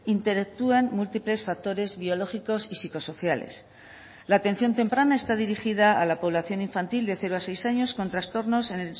interactúan múltiples factores biológicos y psicosociales la atención temprana está dirigida a la población infantil de cero a seis años con trastornos en